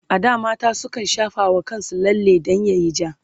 a da mata sukan shafa wa kansu lalle dan yayi ja